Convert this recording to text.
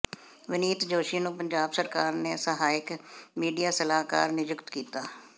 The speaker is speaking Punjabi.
ਵਿਨੀਤ ਜੋਸ਼ੀ ਨੂੰ ਪੰਜਾਬ ਸਰਕਾਰ ਨੇ ਸਹਾਇਕ ਮੀਡੀਆ ਸਲਾਹਕਾਰ ਨਿਯੁਕਤ ਕੀਤਾ